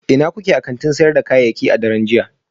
Ina kuke a kantin sayar da kayayyaki a daren jiya?